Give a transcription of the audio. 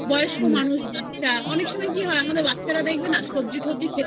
বয়স্ক মানুষ বাচ্চা অনেক সময় কি হয় আমাদের বাচ্চা না সবজি কব্জি